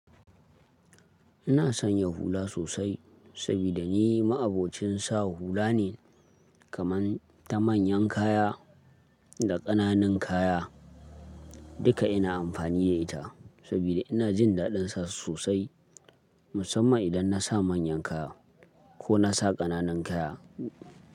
Ina sonya hula sosai, sabida ni ma'abocin sa hula ne, kaman ta manyan kaya da ƙananun kaya. Duka ina amfani da ita sabida ina jin daɗin sa su sosai. Musamman idan na sa manyan kaya ko na sa ƙananan kaya.